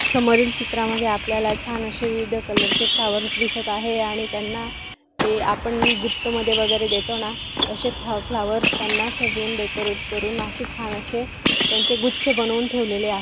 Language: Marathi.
समोरील चित्रामध्ये आपल्याला छान अशी विविध कलरचे फ्लॉवर दिसत आहे आणि त्यांना ते आपण गिफ्ट मध्ये वगैरे देतो ना तशे फा फ्लॉवर्स त्यांना सजवून डेकोरेट करून अशे छान अशे त्यांचे गुच्छ बनवून ठेवलेले आहेत.